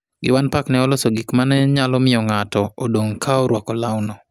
Giwan Park ne oloso gik ma ne nyalo miyo ng'ato odong' ka orwako lawno.